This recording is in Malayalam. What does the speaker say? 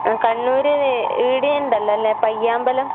അഹ് കണ്ണൂര് ഇവടെയിണ്ടല്ലോല്ലേ പയ്യാമ്പലം.